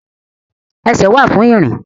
Ẹsẹ̀ wà fún ìrìn